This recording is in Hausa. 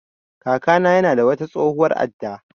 Kaka na ya na da wata tsohuwar adda